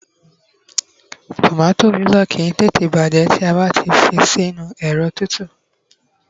tomato lílo kìí tète bajẹ bi a ba fi sí inú ẹrọ tutu